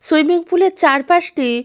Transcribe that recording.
swimming pool -এর চারপাশটি--